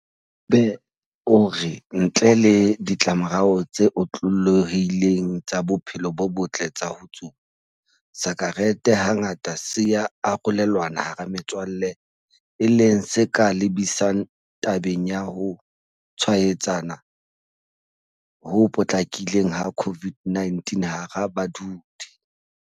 Egbe o re ntle le ditlamorao tse otlolohileng tsa bophelo bo botle tsa ho tsuba, sakerete hangata se ya arolelanwa hara metswalle e leng se ka lebisang tabeng ya ho tshwaetsana ho potlakileng ha COVID-19 hara badudi.